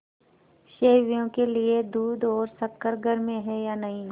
सेवैयों के लिए दूध और शक्कर घर में है या नहीं